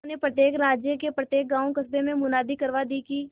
उन्होंने प्रत्येक राज्य के प्रत्येक गांवकस्बों में मुनादी करवा दी कि